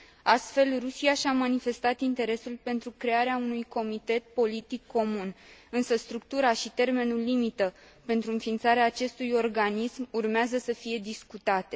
Astfel, Rusia și a manifestat interesul pentru crearea unui comitet politic comun, însă structura și termenul limită pentru înființarea acestui organism urmează să fie discutate.